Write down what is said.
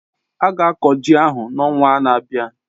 Ága akọ ji ahụ n'ọnwa na-abịa